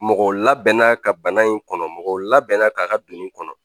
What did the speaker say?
Mɔgɔ labɛnna ka bana in kɔnɔ, mɔgɔ labɛnna k'a ka binni kɔnɔ.